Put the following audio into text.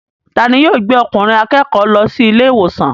Ta ni yóò gbé okùnrin akékòó lọ sí ilé ìwòsàn.